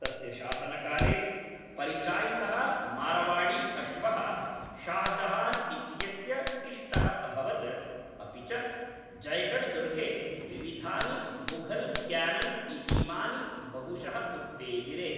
तस्य शासनकाले, परिचायितः मारवाड़ीअश्वः शाहजहान् इत्यस्य इष्टः अभवत्, अपि च जयगढ् दुर्गे विविधानि मुघल्क्यानन् इतीमानि बहुशः उत्पेदिरे।